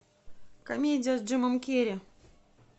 комедия с джимом керри